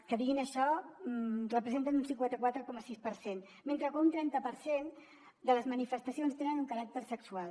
que diguin això representen un cinquanta quatre coma sis per cent mentre que un trenta per cent de les manifestacions tenen un caràcter sexual